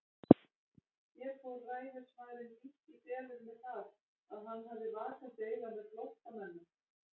Hér fór ræðismaðurinn lítt í felur með það, að hann hafði vakandi auga með flóttamönnum.